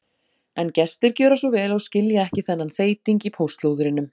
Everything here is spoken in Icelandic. En gestir gjöra svo vel og skilja ekki þennan þeyting í póstlúðrinum.